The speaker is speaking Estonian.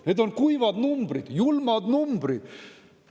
Need on kuivad numbrid, julmad numbrid.